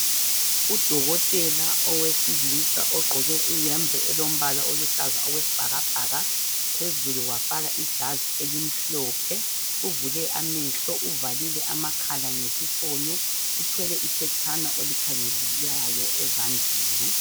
Udokotela owesilisa ogqoke iyembe elombala oluhlaza okwesibhakabhaka phezulu wafaka ijazi elimhlophe. Uvule amehlo uvalile amakhala ngesifonyo uthwele iphetshana olikhangelayo ezandleni.